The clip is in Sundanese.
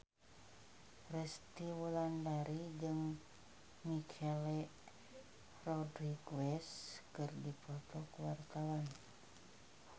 Resty Wulandari jeung Michelle Rodriguez keur dipoto ku wartawan